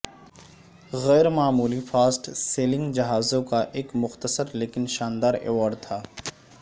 غیر معمولی fast sailing جہازوں کا ایک مختصر لیکن شاندار ایوارڈ تھا